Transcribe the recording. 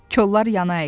Kollar yana əyildi.